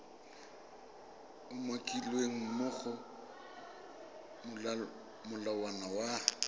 umakilweng mo go molawana wa